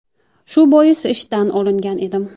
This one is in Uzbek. Shu bois ishdan olingan edim.